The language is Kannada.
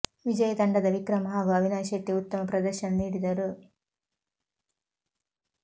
ವಿಜಯಿ ತಂಡದ ವಿಕ್ರಮ್ ಹಾಗೂ ಅವಿನಾಶ್ ಶೆಟ್ಟಿ ಉತ್ತಮ ಪ್ರದರ್ಶನ ನೀಡಿದರು